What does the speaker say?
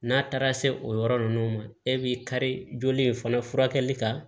N'a taara se o yɔrɔ ninnu ma e b'i kari joli in fana furakɛli kan